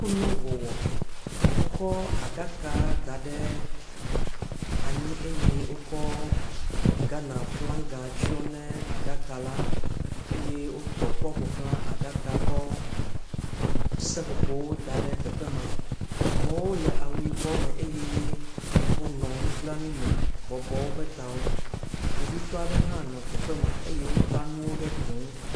Kunuwɔwɔ, wokɔ aɖaka da ɖe anyi eye wokɔ Gana flanga tsyɔ ne aɖaka la eye wotɔ kpɔ ƒo xlã aɖaka la kɔ seƒoƒowo da ɖe teƒe ma. Amewo le awu yibɔ me eye wonɔ nublanui me bɔbɔ woƒe tawo. Kpovitɔ aɖe hã nɔ teƒe ma eye wota nuwo ɖe gli ŋu. .